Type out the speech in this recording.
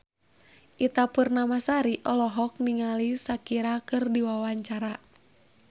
Ita Purnamasari olohok ningali Shakira keur diwawancara